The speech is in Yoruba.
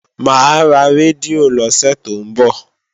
Mà á ra rédíò lọ́sẹ̀ tó ń bọ̀